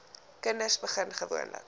kinders begin gewoonlik